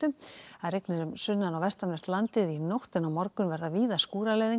rigninir um sunnan og vestanvert landið í nótt en á morgun verða víða skúraleiðingar